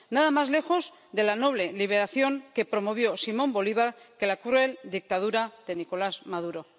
Nada más lejos de la noble liberación que promovió Simón Bolívar que la cruel dictadura de Nicolás Maduro.